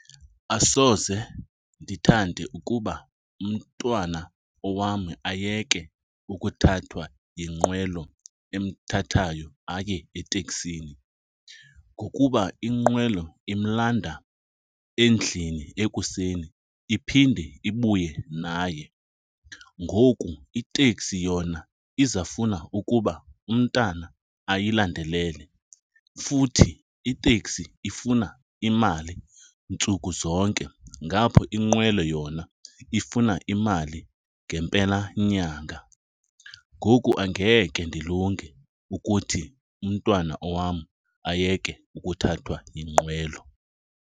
Asoze ndithande ukuba umntwana owam ayeke ukuthathwa yinqwelo emthathayo aye eteksini ngokuba inqwelo imlanda endlini ekuseni iphinde ibuye naye. Ngoku iteksi yona izawufuna ukuba umntana ayilandelele futhi iteksi ifuna imali ntsuku zonke, ngapho inqwelo yona ifuna imali ngempelanyanga. Ngoku angeke ndilungele ukuthi umntwana owam ayeke ukuthathwa yinqwelo.